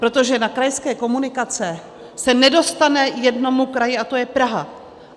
Protože na krajské komunikace se nedostane jednomu kraji, a to je Praha.